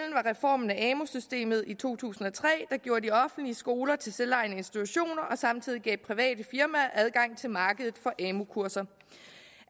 reformen af amu systemet i to tusind og tre der gjorde de offentlige skoler til selvejende institutioner og samtidig gav private firmaer adgang til markedet for amu kurser